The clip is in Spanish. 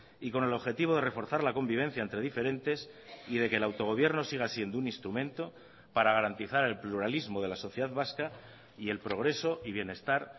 y con el objetivo de reforzar la convivencia entre diferentes y de que el autogobierno siga siendo un instrumento para garantizar el pluralismo de la sociedad vasca y el progreso y bienestar